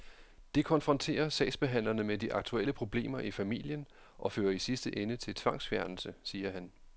Det konfronterer sagsbehandlerne med de aktuelle problemer i familien og fører i sidste ende til tvangsfjernelse, siger han.